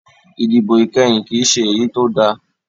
Ìdìbò ìkẹyìn kìí ṣe èyí tó da